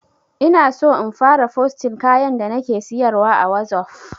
Inaso in fara fosting kayan da nake siyarwa a wazof